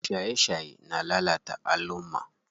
Shaye shaye na lalata alumma.